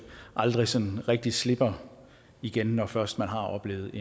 aldrig sådan rigtig slipper igen når man først har oplevet